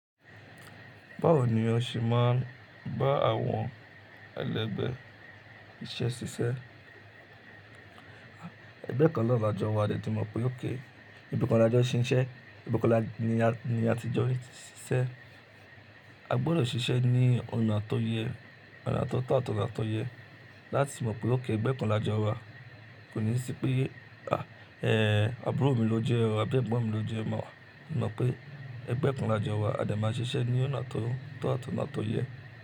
Báwo ni o ṣe máa ń bá àwọn ẹlẹgbẹ́ iṣẹ́ ṣiṣẹ́? Ẹgbẹ́ kan la jọ wa a de ti mọ̀ pé ókay, ibi kan la jọ n ṣiṣẹ́, ibi kan ni a ti jọ n ṣiṣẹ́. A gbọdọ̀ ṣiṣẹ́ ní ọ̀nà tó yẹ, ọ̀nà tó to àti óna tó yẹ láti mọ̀ pé ókay ẹgbẹ́ kan la jọ wa. Kò ní sí pé à, ẹ́, àbúrò mi ló jẹ́ o àbí ẹ̀gbọ́n mi ló jẹ́ ẹ, mo no pé ẹgbẹ́ kan la jọ wa a dẹ̀ máa ṣiṣẹ́ ní ọ̀nà tó to àti óna tó yẹ.